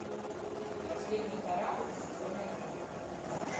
последний корабль сезон один